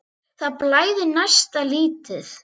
Það blæðir næsta lítið.